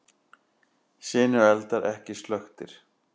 Sinueldar ekki slökktir